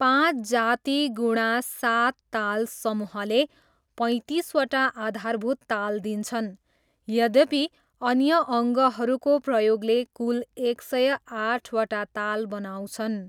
पाँच जाति गुणा सात ताल समूहले पैँतिसवटा आधारभूत ताल दिन्छन्, यद्यपि अन्य अङ्गहरूको प्रयोगले कुल एक सय आठवटा ताल बनाउँछन्।